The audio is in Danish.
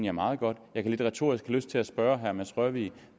er meget godt jeg kan lidt retorisk have lyst til at spørge herre mads rørvig